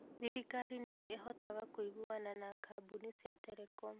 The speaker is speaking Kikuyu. Thirikari nĩ ĩhotaga kũiguana na kambuni cia telecom.